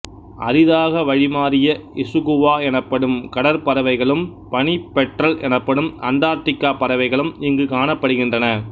அரிதாக வழிமாறிய இசுகுவா எனப்படும் கடற்பறவைகளும் பனிப் பெட்றல் எனப்படும் அண்டார்ட்டிக்கா பறவைகளும் இங்கு காணப்படுகின்றன